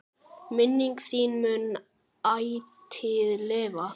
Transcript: Minning þín mun ætíð lifa.